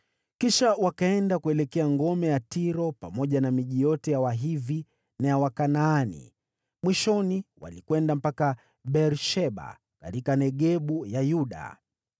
Kisha wakaenda kuelekea ngome ya Tiro pamoja na miji yote ya Wahivi na ya Wakanaani. Mwishoni, walikwenda mpaka Beer-Sheba katika Negebu ya Yuda.